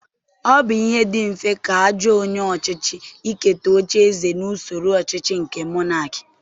Ọ bụ ihe dị mfe ka ajọ onye ọchịchị iketa ocheeze na usoro ọchịchị nke Monakị